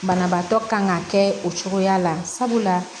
Banabaatɔ kan ka kɛ o cogoya la sabula